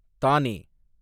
தானே